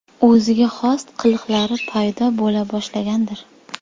O‘ziga xos qiliqlari paydo bo‘la boshlagandir?